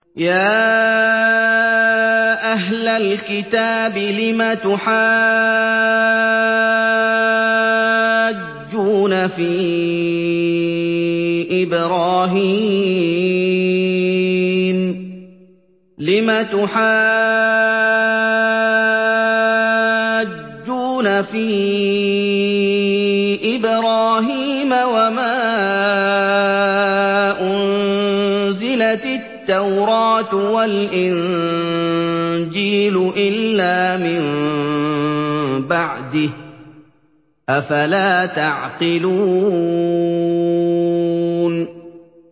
يَا أَهْلَ الْكِتَابِ لِمَ تُحَاجُّونَ فِي إِبْرَاهِيمَ وَمَا أُنزِلَتِ التَّوْرَاةُ وَالْإِنجِيلُ إِلَّا مِن بَعْدِهِ ۚ أَفَلَا تَعْقِلُونَ